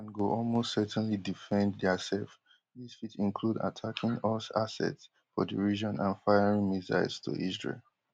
iran go almost certainly defend diaself dis fit include attacking us assets for di region and firing missiles to israel